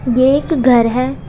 ये एक घर है।